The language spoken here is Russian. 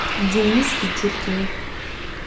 дениске чуркине